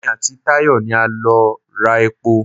Èmi àti Tàyọ̀ ni a lọ ra epo.